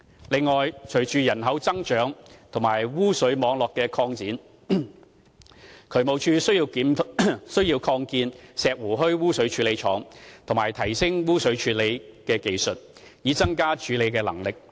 此外，隨着人口增長及污水網絡的擴展，渠務署需要擴建石湖墟污水處理廠及提升污水處理技術，以增加處理能力。